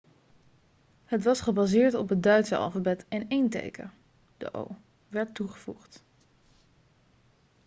het was gebaseerd op het duitse alfabet en één teken 'õ/õ' werd toegevoegd